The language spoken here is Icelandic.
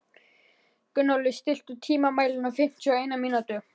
Gunnóli, stilltu tímamælinn á fimmtíu og eina mínútur.